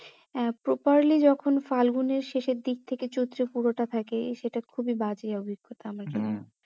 আহ properly যখন ফাল্গুনের শেষের দিক থেকে চৈত্র এর পুরোটা থাকে সেটা খুবই বাজে অভিজ্ঞতা আমার জন্য হ্যাঁ